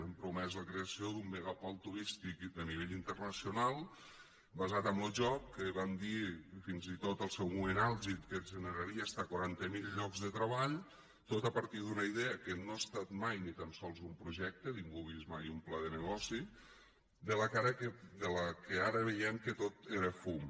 han promès la creació d’un megapol turístic de nivell internacional basat en lo joc que van dir fins i tot en el seu moment àlgid que generaria fins a quaranta mil llocs de treball tot a partir d’una idea que no ha estat mai ni tan sols un projecte ningú ha vist mai un pla de negoci del que ara veiem que tot era fum